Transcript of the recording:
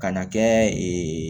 Ka na kɛ